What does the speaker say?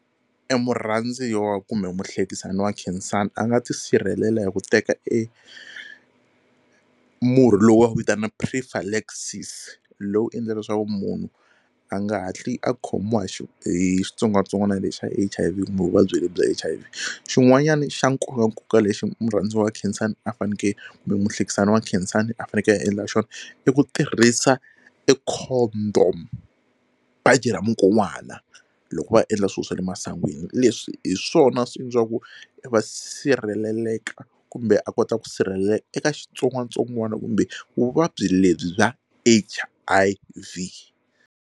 E murhandziwa kumbe muhlekisani wa Khensani a nga tisirhelela hi ku teka e murhi lowu va wu vitana prephylaxis lowu endla leswaku munhu a nga hatli a khomiwa hi hi xitsongwatsongwana lexi xa H_I_V kumbe vuvabyi lebyi bya H_I_V. Xin'wanyana xa nkokankoka lexi murhandziwa wa Khensani a faneke kumbe muhlekisani wa Khensani a faneke a endla xona i ku tirhisa e condom baji ra mukon'wana loko va endla swilo swa le masingwini leswi hi swona swi endlaku va sirheleleka kumbe a kota ku sirheleleka eka xitsongwatsongwana kumbe vuvabyi lebyi bya H_I_V.